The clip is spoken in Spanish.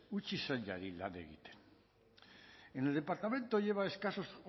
utzi sailari lan egiten en el departamento lleva escasos